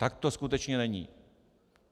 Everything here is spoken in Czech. Tak to skutečně není.